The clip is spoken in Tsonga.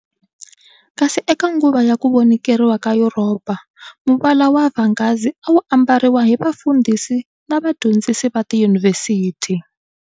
Kasi eka nguva ya ku vonikeriwa ka Yuropa, muvala wa vhangazi a wu ambariwa hi vafundhisi na vadyondzisi va tiyunivhesithi.